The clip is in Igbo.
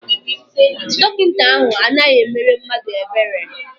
Dọkịta ahụ anaghị emere mmadụ ebere.